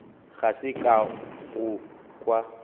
ga se ka go kwa